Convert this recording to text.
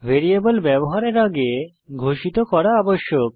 variable ব্যবহারের আগে ঘোষিত করা আবশ্যক